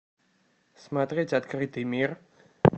смотреть открытый мир